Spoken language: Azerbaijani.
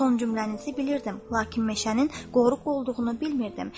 Son cümlənizi bilirdim, lakin meşənin qoruq olduğunu bilmirdim.